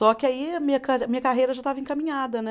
Só que aí a minha ca, minha carreira já estava encaminhada, né?